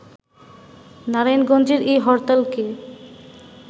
নারায়ণগঞ্জের এই হরতালকে